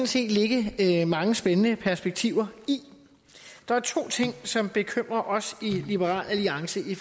set ligge ligge mange spændende perspektiver i der er to ting som bekymrer os i liberal alliance i